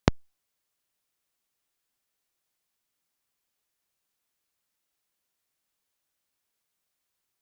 Jóhann: Hvað heldurðu að ráðherrar geri?